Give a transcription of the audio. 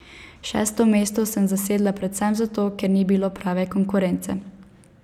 Šesto mesto sem zasedla predvsem zato, ker ni bilo prave konkurence.